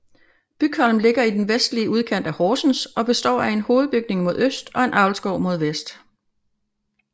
Bygholm ligger i den vestlige udkant af Horsens og består af en hovedbygning mod øst og en avlsgård mod vest